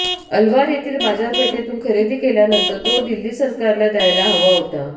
अलवार येथील बाजारपेठेतून खरेदी केल्यानंतर तो दिल्ली सरकारला द्यायला हवा होता